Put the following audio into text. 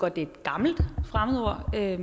at det er et gammelt fremmedord det